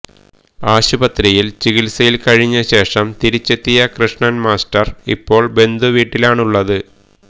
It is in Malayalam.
ആശുപത്രിയില് ചികിത്സയില് കഴിഞ്ഞ ശേഷം തിരിച്ചെത്തിയ കൃഷ്ണന് മാസ്റ്റര് ഇപ്പോള് ബന്ധുവീട്ടിലാണുള്ളത്